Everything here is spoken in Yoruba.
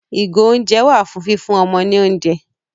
Ìgò-oúnjẹ wà fún fífún ọmọ ní oúnjẹ.